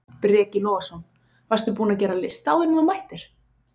Breki Logason: Varstu búinn að gera lista áður en þú mættir?